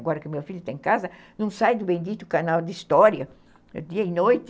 Agora que meu filho está em casa, não sai do bendito canal de história, dia e noite.